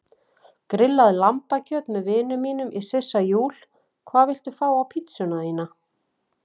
Grillað lambakjöt með vinum mínum í Sissa Júl Hvað vilt þú fá á pizzuna þína?